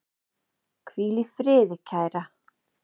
Hvíl í friði, kæra.